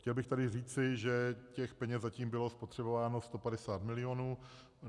Chtěl bych tady říci, že těch peněz zatím bylo spotřebováno 150 mil.